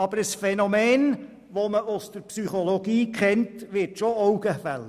Aber ein Phänomen, das man aus der Psychologie kennt, wird schon augenfällig: